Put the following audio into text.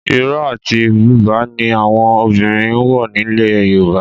Ìró àti Bùbá ni àwọn obìnrin ń wọ̀ nílẹ̀ Yorùbá